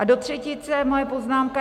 A do třetice moje poznámka.